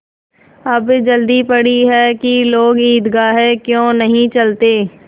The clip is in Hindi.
अब जल्दी पड़ी है कि लोग ईदगाह क्यों नहीं चलते